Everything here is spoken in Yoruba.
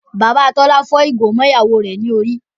Bàbá Tọ́lá fọ́ ìgò mọ́ ìyàwó rẹ̀ lórí.